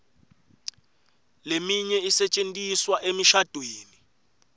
leminye isetjentiswa emishadvweni